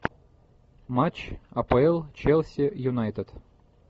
матч апл челси юнайтед